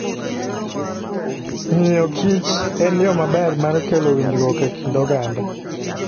Ng'iyokich en yo maber mar kelo winjruok e kind oganda.